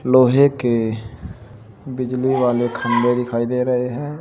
लोहे के बिजली वाले खंभे दिखाई दे रहे हैं।